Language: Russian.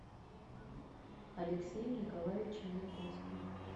алексеем николаевичем янковским